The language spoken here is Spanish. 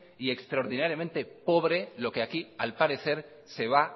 y extraordinariamente pobre lo que aquí al parecer se va